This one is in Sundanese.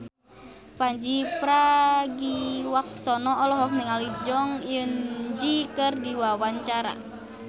Pandji Pragiwaksono olohok ningali Jong Eun Ji keur diwawancara